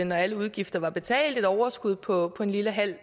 når alle udgifter var betalt et overskud på en lille halv